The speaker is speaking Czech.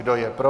Kdo je pro?